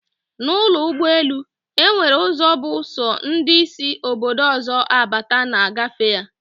Na ụlọ ụgbọ elu, enwere ụzọ bụ sọ ndị sị Obodo ọzọ abata na-agafe ya